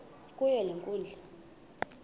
kuyo le nkundla